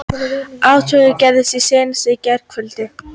Atvikið gerðist í seint í gærkvöldi